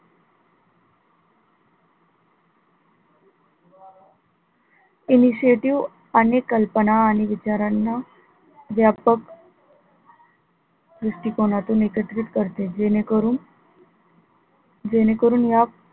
initiative कल्पना आणि विचाराणा व्यापक दृष्टिकोनातून एकत्रित करते जेणेकरून जेणेकरून या,